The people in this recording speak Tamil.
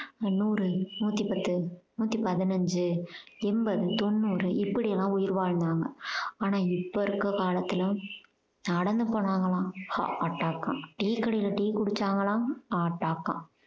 நூறு நூத்தி பத்து நூத்தி பதினைஞ்சு என்பது தொன்னூறு இப்படி எல்லாம் உயிர் வாழ்ந்தாங்க ஆனால் இப்ப இருக்க காலத்துல நடந்து போனாங்களாம் attack ஆ tea கடையில tea குடிச்சாங்களாம் attack ஆ